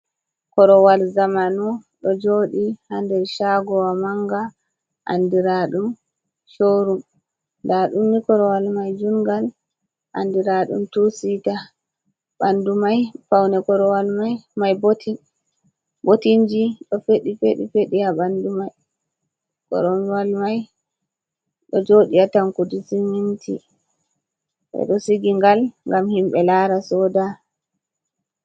Korowal zamanu ɗo jooɗi, haa nder caagowa mannga, anndiraaɗum corum. Ndaa ɗum ni korowal may juuɗngal, anndiraaɗum tusiita, ɓanndu may, pawne korowal may, botinji ɗo feɗi feɗi fedi haa ɓanndu korowal may, ɗo jooɗi atankudi siminti, ɓe ɗo sigi ngal, ngam himɓe laara sooda.